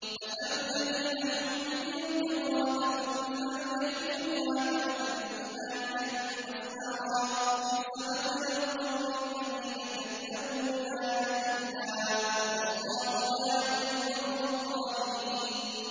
مَثَلُ الَّذِينَ حُمِّلُوا التَّوْرَاةَ ثُمَّ لَمْ يَحْمِلُوهَا كَمَثَلِ الْحِمَارِ يَحْمِلُ أَسْفَارًا ۚ بِئْسَ مَثَلُ الْقَوْمِ الَّذِينَ كَذَّبُوا بِآيَاتِ اللَّهِ ۚ وَاللَّهُ لَا يَهْدِي الْقَوْمَ الظَّالِمِينَ